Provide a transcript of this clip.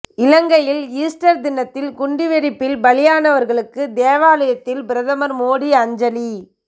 இலங்கையில் ஈஸ்டர் தினத்தில் குண்டுவெடிப்பில் பலியானவர்களுக்கு தேவாலாயத்தில் பிரதமர் மோடி அஞ்சலி